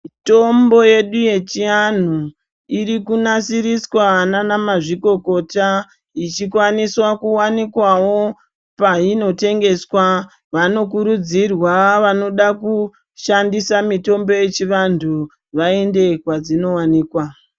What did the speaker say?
Mitombo yedu yechianhu iri kunasiriswa nana mazvikokota yichikwaniswa kuwanikwawo painotengeswa vanokurudzirwa vanoda kushandisa mitombo yechianthu vaende kwadzinowanikwa.